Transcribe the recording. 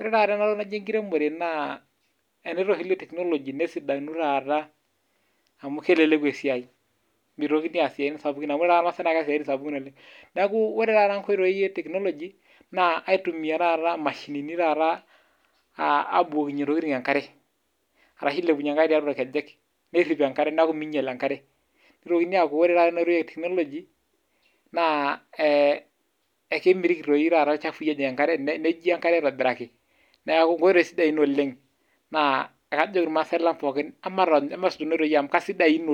Ore taata ena toki naji ekiremore naa, eneitushuli o teknologi nesidanu taata amu, keleleku esiai, mitokini aas siaitin sapukin amu, ore irmasaae naa keas isiatin sapukin oleng. Neaku ore taata nkoitoi e teknologi naa , aitumia taata mashinini taata ah abukokinye intokitin enkare arashu , ailepunyie enkare tiatua irkejek nerip enkare neaku, meinyial enkare. Nitokini aaku ore taata ena oitoi eteknologi naa eh kemitiki doi taata ilchafui ejing enkare, nejiae enkare aitobiraki. Neaku enkoitoi ina sidai oleng, naa kajoki irmasaae lang pookin amatusuj kuna oitoi amu kasidan oleng.